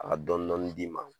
A dɔn dɔni d'i ma